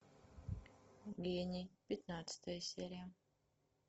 гений пятнадцатая серия